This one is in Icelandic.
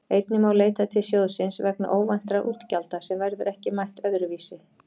Einnig má leita til sjóðsins vegna óvæntra útgjalda sem verður ekki mætt öðru vísi.